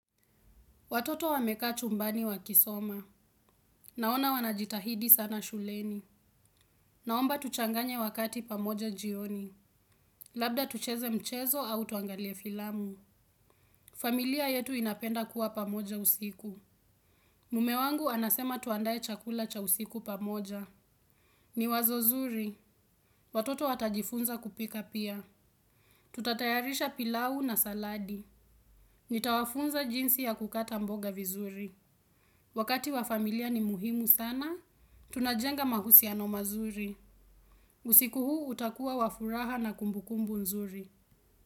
Watoto wamekaa chumbani wakisoma. Naona wanajitahidi sana shuleni. Naomba tuchanganye wakati pamoja jioni. Labda tucheze mchezo au tuangalie filamu. Familia yetu inapenda kuwa pamoja usiku. Mme wangu anasema tuandaye chakula cha usiku pamoja. Ni wazo zuri. Watoto watajifunza kupika pia. Tutatayarisha pilau na saladi. Nitawafunza jinsi ya kukata mboga vizuri. Wakati wa familia ni muhimu sana. Tunajenga mahusiano mazuri. Usiku huu utakuwa wa furaha na kumbukumbu nzuri.